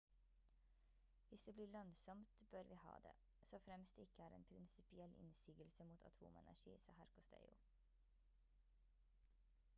«hvis det blir lønnsomt bør vi ha det. så fremt det ikke er en prinsipiell innsigelse mot atomenergi» sa herr costello